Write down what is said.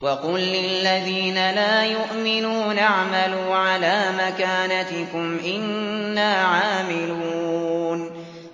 وَقُل لِّلَّذِينَ لَا يُؤْمِنُونَ اعْمَلُوا عَلَىٰ مَكَانَتِكُمْ إِنَّا عَامِلُونَ